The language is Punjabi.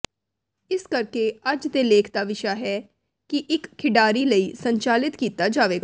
ਇਸ ਕਰਕੇ ਅੱਜ ਦੇ ਲੇਖ ਦਾ ਵਿਸ਼ਾ ਹੈ ਕਿ ਇੱਕ ਖਿਡਾਰੀ ਲਈ ਸੰਚਾਲਿਤ ਕੀਤਾ ਜਾਵੇਗਾ